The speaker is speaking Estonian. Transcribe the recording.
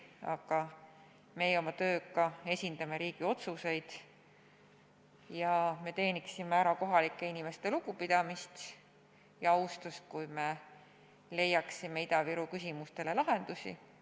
Aga meie oma tööga esindame riigi otsuseid ja me teeniksime ära kohalike inimeste lugupidamise ja austuse, kui leiaksime Ida-Virumaa küsimustele lahendusi.